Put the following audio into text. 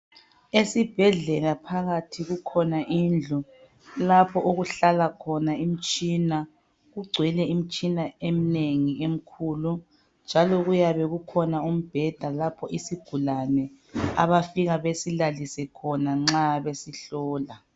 Esibhedlela phakathi kukhona indlu lapho okuhlala khona imtshina kugcwele imtshina emnengi emkhulu. Njalo kuyabe kukhona umbheda lapho isigulane abafika besilalise khona nxa besihlola.